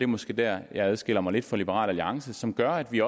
måske dér jeg adskiller mig lidt fra liberal alliance som gør at vi